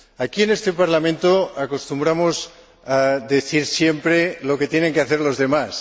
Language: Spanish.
Aquí, en este Parlamento, acostumbramos a decir siempre lo que tienen que hacer los demás.